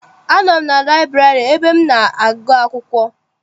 Anọ m na laịburarị ebe m na-agụ akwụkwọ.